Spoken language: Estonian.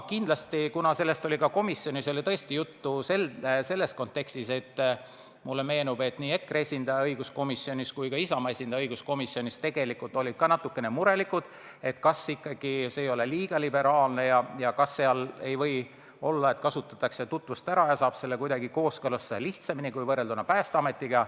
Aga mulle meenub, et nii EKRE esindaja kui ka Isamaa esindaja õiguskomisjonis olid ka natukene murelikud, kas see kord liiga liberaalne ei ole ja kas ei või olla, et kasutatakse tutvusi ära ja saab selle kooskõlastuse lihtsamini kui Päästeametist.